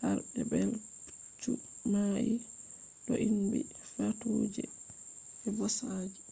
harbe be’i pucchu na’i doinbi fatuje be bosaji